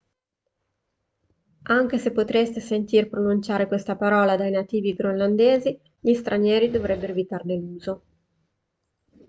anche se potreste sentir pronunciare questa parola dai nativi groenlandesi gli stranieri dovrebbero evitarne l'uso